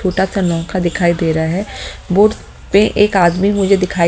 छोटा सा नौखा दिखाई दे रहा है बोट पे एक आदमी मुझे दिखाई --